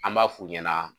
An b'a f'u ɲɛna